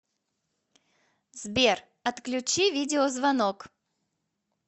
сбер отключи видеозвонок